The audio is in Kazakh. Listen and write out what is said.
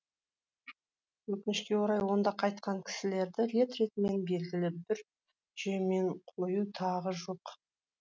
өкінішке орай онда қайтқан кісілерді рет ретімен белгілі бір жүйемен қою тағы жоқ